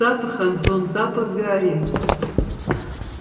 запах антон запах гари